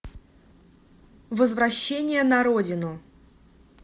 возвращение на родину